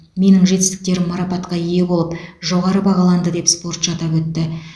менің жетістіктерім марапатқа ие болып жоғары бағаланды деп спортшы атап өтті